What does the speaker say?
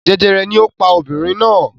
Jẹjẹrẹ ni ó pa obìnrin náà!